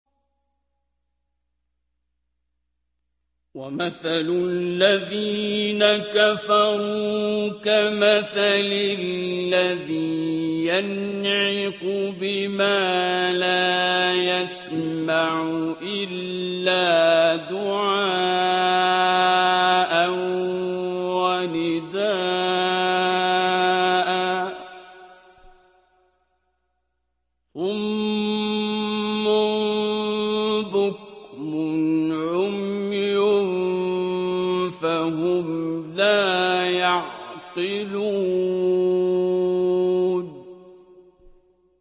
وَمَثَلُ الَّذِينَ كَفَرُوا كَمَثَلِ الَّذِي يَنْعِقُ بِمَا لَا يَسْمَعُ إِلَّا دُعَاءً وَنِدَاءً ۚ صُمٌّ بُكْمٌ عُمْيٌ فَهُمْ لَا يَعْقِلُونَ